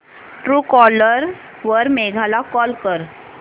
Truecaller वर मेघा ला call कर